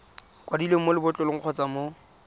kwadilweng mo lebotlolong kgotsa mo